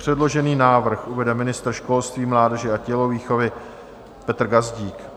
Předložený návrh uvede ministr školství, mládeže a tělovýchovy Petr Gazdík.